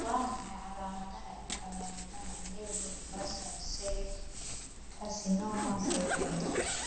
Waa maxay calamadaha iyo calaamadaha Nevoid basal cell carcinoma syndromke?